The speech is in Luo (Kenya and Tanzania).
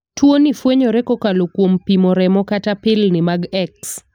Tuo ni fwenyore kokalo kuom pimo remo kata pilni mag X.